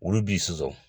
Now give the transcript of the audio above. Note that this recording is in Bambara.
Olu b'i susu